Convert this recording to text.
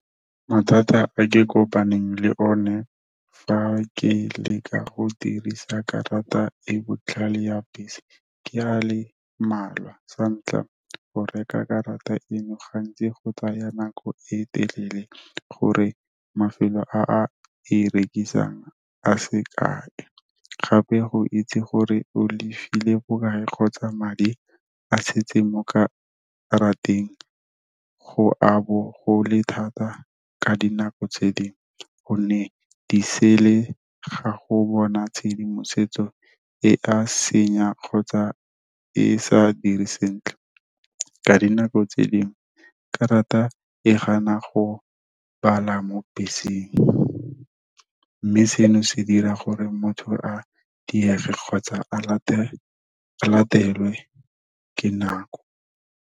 Mathata a ke kopaneng le one fa ke leka go dirisa karata e botlhale ya bese, ke a le mmalwa. Sa ntlha, go reka karata eno gantsi go tsaya nako e telele gore mafelo a a e rekisang a sekae. Gape go itse gore o lefile bokae kgotsa madi a setse mo karateng go a bo go le thata ka dinako tse dingwe. Gonne di ga go bona tshedimosetso e a senya kgotsa e sa dire sentle, ka dinako tse dingwe karata e gana go bala mo beseng. Mme seno se dira gore motho a diege kgotsa a latelwe ke nako.